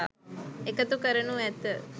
එකතු කරනු ඇත